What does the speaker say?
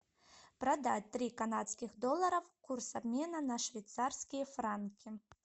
продать три канадских доллара курс обмена на швейцарские франки